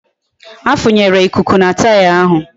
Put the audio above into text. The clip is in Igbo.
A funyere ikuku na taya ahụ